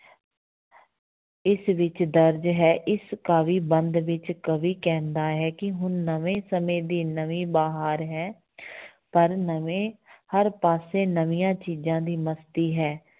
ਇਸ ਵਿੱਚ ਦਰਜ਼ ਵਿੱਚ ਹੈ ਇਸ ਕਾਵਿ ਬੰਧ ਵਿੱਚ ਕਵੀ ਕਹਿੰਦਾ ਹੈ ਕਿ ਹੁਣ ਨਵੇਂ ਸਮੇਂ ਦੀ ਨਵੀਂ ਬਹਾਰ ਹੈ ਪਰ ਨਵੇਂ ਹਰ ਪਾਸੇ ਨਵੀਂਆਂ ਚੀਜ਼ਾਂ ਦੀ ਮਸਤੀ ਹੈ।